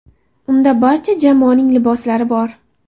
Unda barcha jamoaning liboslari bor.